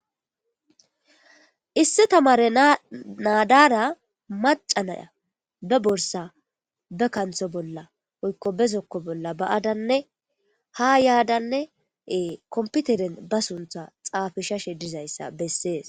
Issi tamare naa dara macca na'iya ba borissa ba kanitho bolla woyiko ba zoko bolla baa'adane ha yadane komipiteren ba sunitha xafisashe dizayisa besses